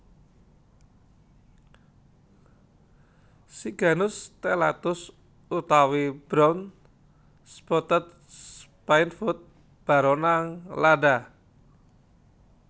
Siganus Stellatus utawi Brown Spotted Spinefoot baronang lada